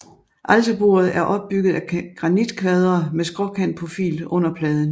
Alterbordet er opbygget af granitkvadre med skråkantprofil under pladen